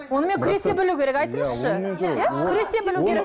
онымен күресе білу керек айтыңызшы күресе білу керек